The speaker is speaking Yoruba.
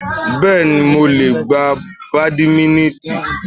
Bẹ́ẹ̀ni, mo le gbá bàdímínítìnì.